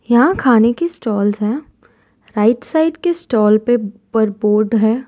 यहां खाने की स्टॉल्स है राइट साइड के स्टॉल पे पर है।